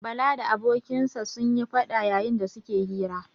Bala da abokinsa sun yi faɗa yayin da su ke hira.